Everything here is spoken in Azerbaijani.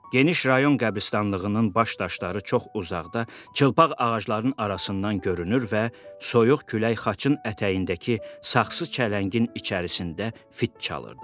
Geniş rayon qəbiristanlığının baş daşları çox uzaqda, çılpaq ağacların arasından görünür və soyuq külək xaçın ətəyindəki saxsı çələngin içərisində fit çalırdı.